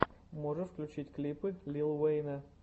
можешь включить клипы лил уэйна